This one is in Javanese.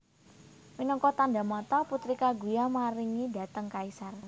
Minangka tandha mata Putri Kaguya maringi dhateng kaisar